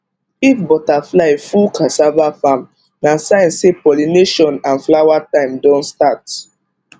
if butterfly full cassava farm na sign say pollination and flower time don start